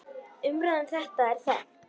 Umræða um þetta er þekkt.